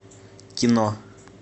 кино